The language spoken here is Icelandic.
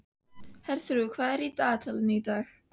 Herþrúður, hvað er í dagatalinu í dag?